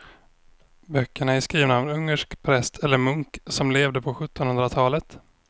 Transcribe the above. Böckerna är skrivna av en ungersk präst eller munk som levde på sjuttonhundratalet.